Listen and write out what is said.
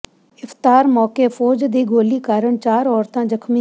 ਇਫ਼ਤਾਰ ਮੌਕੇ ਫ਼ੌਜ ਦੀ ਗੋਲੀ ਕਾਰਨ ਚਾਰ ਔਰਤਾਂ ਜ਼ਖ਼ਮੀ